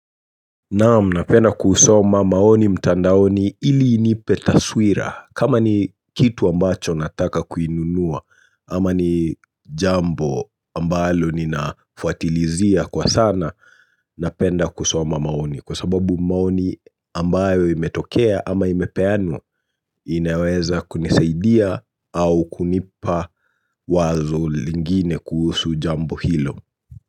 Naam, napenda kusoma maoni mtandaoni ili inipe taswira. Kama ni kitu ambacho nataka kuinunua, ama ni jambo ambalo ninafuatilizia kwa sana, napenda kusoma maoni. Kwa sababu maoni ambayo imetokea ama imepeanwa, inaweza kunisaidia au kunipa wazo lingine kuhusu jambo hilo.